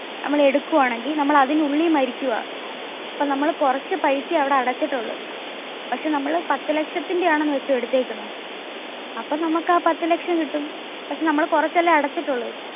മ്മൾ എടുക്കുവാണെങ്കിൽ നമ്മൾ അതിനു ഉള്ളിൽ മരിക്കുവാ. അപ്പോ നമ്മൾ കുറച്ച പൈസയെ അവിടെ അടച്ചിട്ടുള്ളു. പക്ഷെ നമ്മൾ പത്തു ലക്ഷത്തിന്റെയാണ് എന്ന വെച്ചോ എടുത്തേക്കുന്നെ. അപ്പോ നമ്മുക് ആ പത്തു ലക്ഷം കിട്ടും. പക്ഷെ നമ്മൾ കുറച്ച അല്ലെ അടച്ചിട്ടുള്ളു.